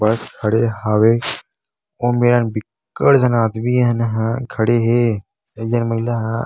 बस खड़े हवे ओमे बिक्कट झन आदमी ह न खड़े हे एक झन महिला ह --